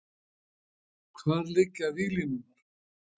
Hvar liggja víglínurnar?